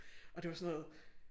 Og det var sådan noget